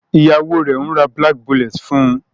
Ìyàwó rẹ ń rà black bullet fun.